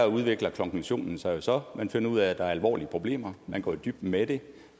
udvikler konklusionen sig jo så man finder ud af at der er alvorlige problemer og man går i dybden med det